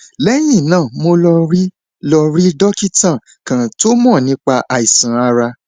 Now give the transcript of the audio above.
lẹyìn náà mo lọ rí lọ rí dókítà kan tó mọ nípa iṣan ara